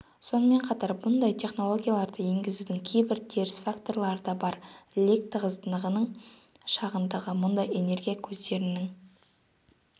сонымен қатар мұндай технологияларды енгізудің кейбір теріс факторлары да бар лек тығыздығының шағындығы мұндай энергия көздерінің